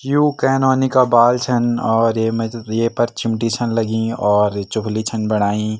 यु के नौनी का बाल छन और येमा त ये पर चिमटी छन लगीं और चुफ्ली छन बणाई।